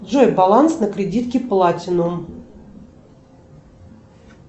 джой баланс на кредитке платинум